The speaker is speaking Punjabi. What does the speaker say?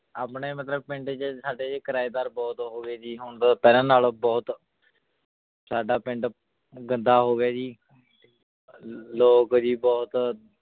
ਆਪਣੇ ਮਤਲਬ ਪਿੰਡ ਚ ਸਾਡੇ ਕਿਰਾਏਦਾਰ ਬਹੁਤ ਹੋ ਗਏ ਜੀ ਹੁਣ ਪਹਿਲਾਂ ਨਾਲੋਂ ਬਹੁਤ ਸਾਡਾ ਪਿੰਡ ਗੰਦਾ ਹੋ ਗਿਆ ਜੀ ਲ ਲੋਕ ਜੀ ਬਹੁਤ